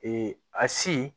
a si